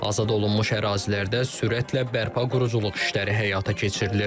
Azad olunmuş ərazilərdə sürətlə bərpa quruculuq işləri həyata keçirilir.